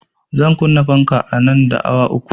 Zan kunna fanka nan da awa uku